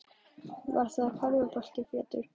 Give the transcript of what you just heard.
Hugi: Var það ekki körfubolti Pétur?